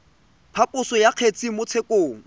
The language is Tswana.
phaposo ya kgetse mo tshekong